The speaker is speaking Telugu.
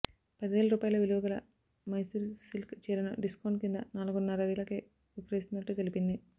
పదివేల రూపాయల విలువ గల మైసూర్ సిల్క్ చీరను డిస్కౌంట్ కింద నాలుగున్నర వేలకే విక్రయిస్తున్నట్లు తెలిపింది